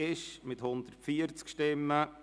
Roland Näf mit 130 Stimmen